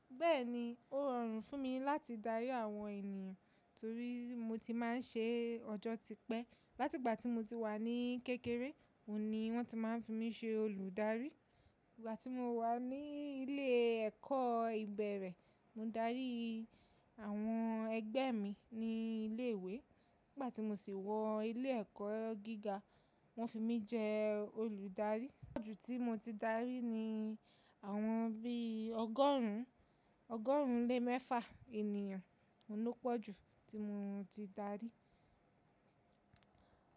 Bẹ́ẹ̀ni, ó rọrùn fún mi láti darí àwọn ènìyàn torí mo ti máa ń ṣe ọjọ́ tipẹ́. Láti ìgbà tí mo ti wà ní kékeré, òní wọ́n ti máa ń fi mí ṣe olùdarí. Ìgbà tí mo wà ní ilé ẹ̀kọ́ ìbẹ̀rẹ̀, mo darí àwọn ẹgbẹ́ mi ní ilé ìwé. Nígbà tí mo sì wọ ilé ẹ̀kọ́ gíga, wọ́n fi mí jẹ olùdarí. Pọ́jù tí mo ti darí ni àwọn bí ọgọ́rùn ún, ọgọ́rùn ún lé mẹ́fà ènìyàn. Ó ní pọ̀jù tí mo ti darí.